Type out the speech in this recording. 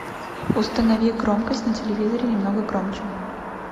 установи громкость на телевизоре немного громче